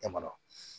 Dama